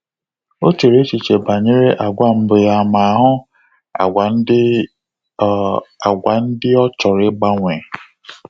O chere echiche banyere agwa mbụ ya ma hụ agwa ndị o agwa ndị o chọrọ igbanwe